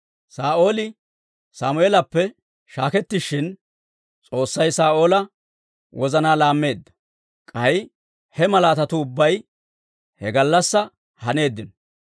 Saa'ooli Sammeelappe shaakettishin, S'oossay Saa'oola wozanaa laammeedda; k'ay he malaatatuu ubbay he gallassaa haneeddino.